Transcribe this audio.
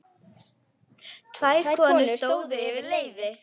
Tvær konur stóðu yfir leiði.